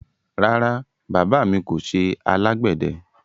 Rárá, baba mi kò ṣẹ alágbedẹ